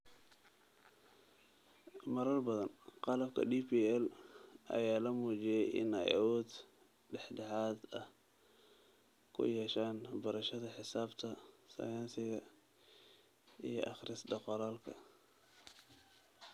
Marar badan, qalabka DPL ayaa la muujiyay in ay awood dhexdhexaad ah ku yeeshaan barashada xisaabta, sayniska, iyo akhris-qoraalka.